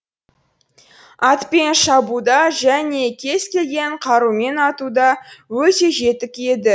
атпен шабуда және кез келген қарумен атуда өте жетік еді